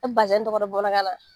E bɛ tɔgɔ dɔn bamanankan na